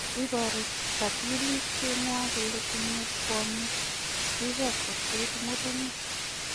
Iboru kachigilisyet nywa kole tinye kwonyiik rirge kosir murenik